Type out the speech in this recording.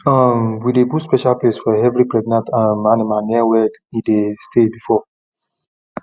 um we dey build special place for every pregnant um animal near where e dey stay before